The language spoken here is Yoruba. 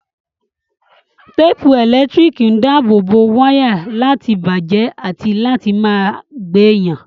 Téèpù ẹ̀lẹ́tíríkì ń dáàbò wáyà láti bàjẹ́ àti láti má gbé yàn